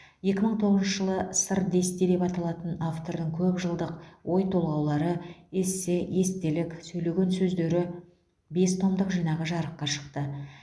екі мың тоғызыншы жылы сыр десте деп аталатын автордың көп жылдық ой толғаулары эссе естелік сөйлеген сөздері бес томдық жинағы жарыққа шықты